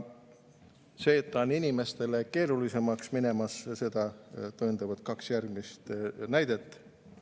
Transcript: Seda, et inimestel läheb keerulisemaks, tõendavad kaks järgmist näidet.